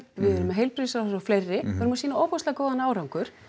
heilbrigðisráðherra og fleiri við erum að sýna ofboðslega góðan árangur